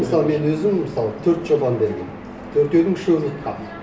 мысалы мен өзім мысалы төрт жобаны бергенмін төртеудің үшеуін ұтқанмын